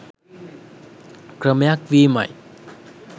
ක්‍රමයක් වීමයි.